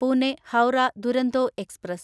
Pune Howrah Duronto express